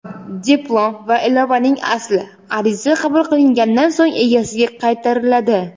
diplom va ilovaning asli (ariza qabul qilingandan so‘ng egasiga qaytariladi);.